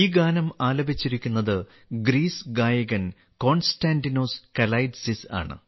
ഈ ഗാനം ആലപിച്ചിരിക്കുന്നത് ഗ്രീസ് ഗായകൻ കോൺസ്റ്റാന്റിനോസ് കലൈറ്റ്സിസ് ആണ്